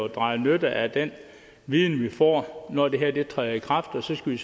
drage nytte af den viden vi får når det her træder i kraft og så skal vi